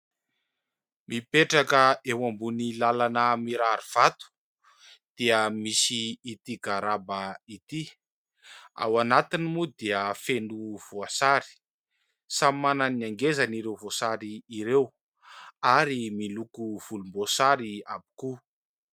Mipetraka eo ambony lalana mirary vato dia misy ity garaba ity. Ao anatiny moa dia feno voasary. Samy manana ny angezany ireo voasary ireo ary miloko volomboasary avokoa.